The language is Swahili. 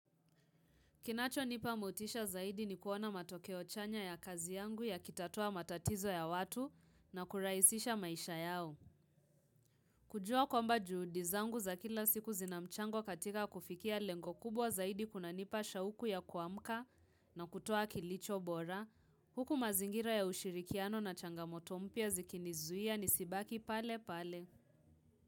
Kinacho nipa motisha zaidi ni kuona matokeo chanya ya kazi yangu yakitatua matatizo ya watu na kurahisisha maisha yao. Kujua kwamba juhudi zangu za kila siku zina mchango katika kufikia lengo kubwa zaidi kunanipa shauku ya kuamka na kutoa kilicho bora. Huku mazingira ya ushirikiano na changamoto mpya zikinizuia nisibaki pale pale.